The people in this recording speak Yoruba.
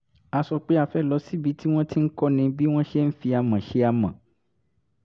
a sọ pé a fẹ́ lọ síbi tí wọ́n ti ń kọ́ni bí wọ́n ṣe ń fi amọ̀ ṣe amọ̀